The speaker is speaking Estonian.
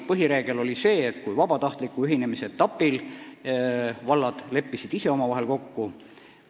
Põhireegel oli, et kui vabatahtliku ühinemise etapil vallad leppisid ise omavahel kokku, siis valitsus ei sekkunud.